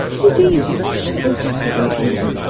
Sizi deyil, onu şüşə örtüklə örtürdüm.